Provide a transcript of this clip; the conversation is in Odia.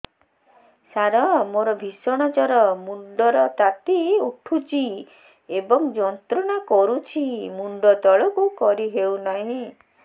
ସାର ମୋର ଭୀଷଣ ଜ୍ଵର ମୁଣ୍ଡ ର ତାତି ଉଠୁଛି ଏବଂ ଯନ୍ତ୍ରଣା କରୁଛି ମୁଣ୍ଡ ତଳକୁ କରି ହେଉନାହିଁ